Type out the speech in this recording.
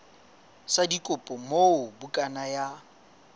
sa dikopo moo bukana ya